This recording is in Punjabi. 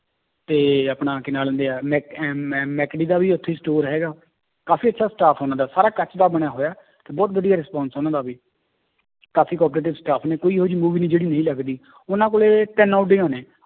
ਤੇ ਆਪਣਾ ਕੀ ਨਾਂ ਲੈਂਦੇ ਹੈ ਮੈਕ ਅਹ ਦਾ ਵੀ ਉੱਥੇ ਹੀ store ਹੈਗਾ, ਕਾਫ਼ੀ ਅੱਛਾ staff ਉਹਨਾਂ ਦਾ ਸਾਰਾ ਕੱਚ ਦਾ ਬਣਿਆ ਹੋਇਆ, ਤੇ ਬਹੁਤ ਵਧੀਆ response ਉਹਨਾਂ ਦਾ ਵੀ ਕਾਫ਼ੀ cooperative staff ਨੇ ਕੋਈ ਇਹੋ ਜਿਹੀ movie ਨੀ ਜਿਹੜੀ ਨਹੀਂ ਲੱਗਦੀ ਉਹਨਾਂ ਕੋਲੇ ਤਿੰਨ ਓਡੀਆਂ ਨੇ।